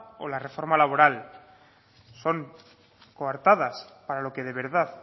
o la reforma laboral son coartadas para lo que de verdad